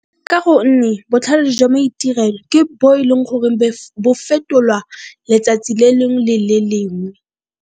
Ka gonne botlhale jwa maitirelo ke bo e leng gore bo fetolwa letsatsi le leng le le leng.